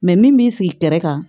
min b'i sigi kɛrɛ kan